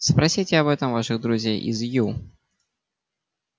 спросите об этом ваших друзей из ю